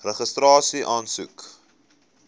registrasieaansoek